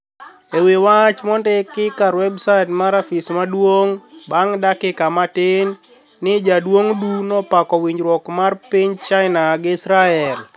Ewi wach monidiki kar webSaait mar afis maduonig banig dakika matini nii jaduonig Du nopako winijruok mar piniy chinia gi israel.